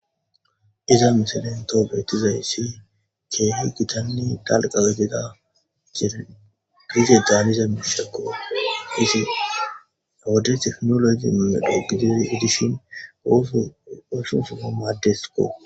Iza misalento beetizay si keehi gitanni dalqa gida jee drize daanize mishekko hisi ode teknologi mile dhogidi edishin goofe osusu amaaddesko.